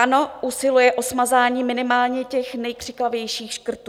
Ano, usilujeme o smazání minimálně těch nejkřiklavějších škrtů.